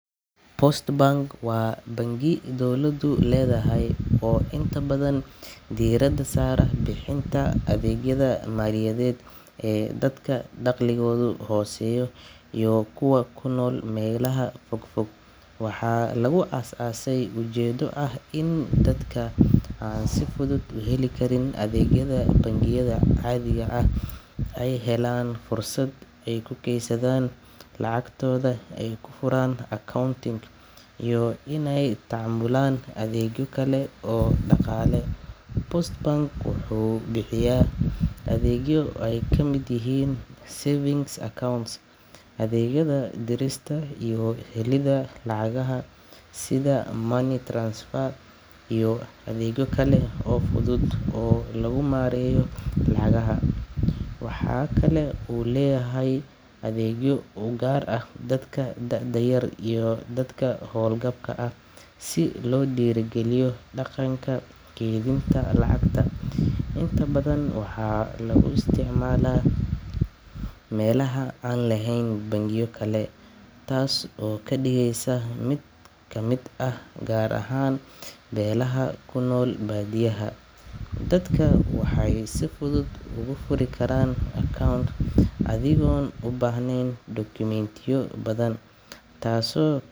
Inaad xoolo adhiga ah sida digaagga beertaada ku hayso waa arrin aad muhiim u ah maxaa yeelay digaaggu waxay bixiyaan cuntooyin nafaqo leh sida ukunta iyo hilibka taasoo ka qayb qaadata koritaanka caafimaadka leh ee qoyskaaga sidoo kale digaagga waa ilo dhaqaaled oo muhiim ah maadaama aad iibin karto ukunta ama digaagga lafta ah si aad u hesho dakhli joogto ah taasoo kuu sahlaysa inaad iibsato baahiyaha kale ee nolosha digaagga sidoo kale waxay beerta ka saacidaan inay nadiif ahaato maadaama ay cunaan cayayaanka beerta waxyeeleeya iyo haraaga cuntooyinka taasoo yareyneysa khasaaraha dalagga digaagga si sahlan ayaa loo kori karaa mana baahna kharash badan waxayna qaataan meel yar taasoo ka dhigaysa mid ku habboon dadka ku nool magaalooyinka iyo miyiga labadaba.